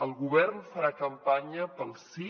el govern farà campanya pel sí